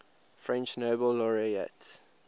french nobel laureates